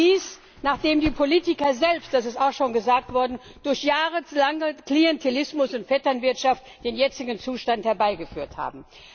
Und dies, nachdem die Politiker selbst das ist auch schon gesagt worden durch jahrelangen Klientelismus und Vetternwirtschaft den jetzigen Zustand herbeigeführt haben.